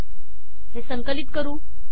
हे संकलित करू